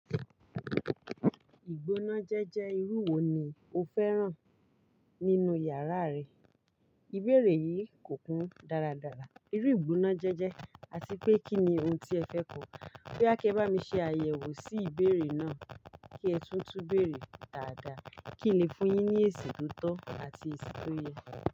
Ìgbónájẹ́jẹ́ irú wo ni o fẹ́ràn nínú yàrá rẹ? Ìbéèrè yìí kò kún dáradára. Irú ìgbónájẹ́jẹ́ àti pé kí ni ohun tí ẹ fẹ́ kọ. Bóyá kí ẹ bá mi ṣe àyẹ̀wò sí ìbéèrè náà kí ẹ tún túbéèrè dáadáa kí n lè fún un yín ní èsì tó tọ́ àti èsì tó yẹ.